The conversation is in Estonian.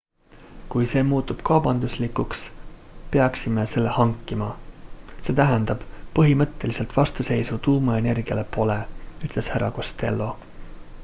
kui see muutub kaubanduslikuks peaksime selle hankima see tähendab põhimõttelist vastuseisu tuumaenergiale pole ütles hr costello